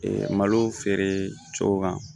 malo feere cɛw kan